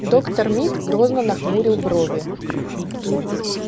доктор мид грозно нахмурил брови